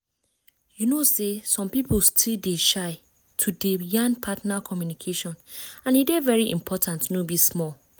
you know say some people still dey shy to dey yan partner communication and e dey very important no be small.